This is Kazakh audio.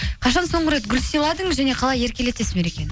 қашан соңғы рет гүл сыйладыңыз және қалай еркелетесіз мерекені